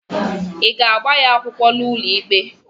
ị ga-agba ya akwụkwọ n'ụlọikpe?